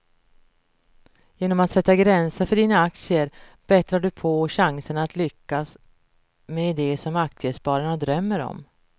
Genom att sätta gränser för dina aktier bättrar du på chanserna att lyckas med det som aktiesparare drömmer om.